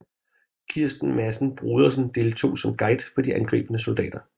Kristen Madsen Brodersen deltog som guide for de angribende soldater